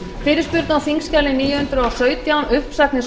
fyrirspurn á þingskjali níu hundruð og sautján uppsagnir